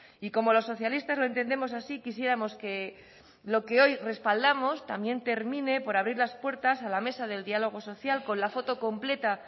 y como los socialistas lo entendemos así quisiéramos que lo que hoy respaldamos también termine por abrir las puertas a la mesa del diálogo social con la foto completa